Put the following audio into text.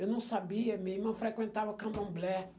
Eu não sabia, minha irmã frequentava candomblé.